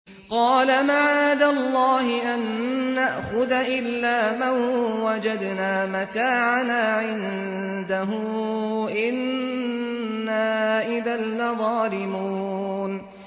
قَالَ مَعَاذَ اللَّهِ أَن نَّأْخُذَ إِلَّا مَن وَجَدْنَا مَتَاعَنَا عِندَهُ إِنَّا إِذًا لَّظَالِمُونَ